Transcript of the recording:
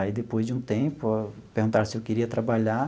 Aí, depois de um tempo, perguntaram se eu queria trabalhar.